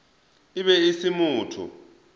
e be e se motho